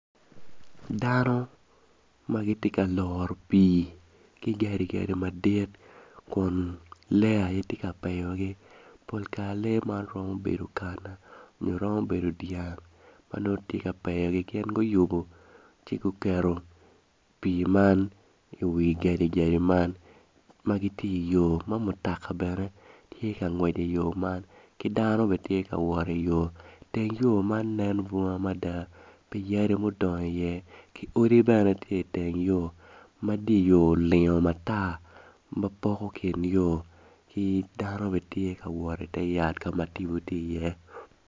Dano ma gitye ka loro pii ki gadigadi madit kun lee aye tye ka peyogi pol kare lee man twero bedo kana nyo romo bedo dyang ma nongo tye ka peyogi gin guyubo ci guketo pii man iwi gadigadi man m gitye iyo ma mutoka bene tye ka ngwec iyo man ki dano tye ka wot iyo teng yo man nen bunga mada pi yadi ma odongo iye ki odi bene tye iteng yo ma di yo olingo matar ma poko kin yo ki dano bene tye ka wot ite yat ka ma tipo tye iye.